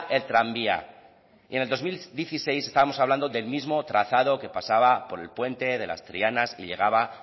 el tranvía y en el dos mil dieciséis estábamos hablando del mismo trazado que pasaba por el puente de las trianas y que llegaba